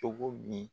Cogo min